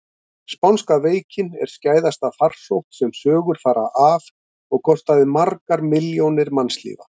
Spánska veikin er skæðasta farsótt sem sögur fara af og kostaði margar milljónir mannslífa.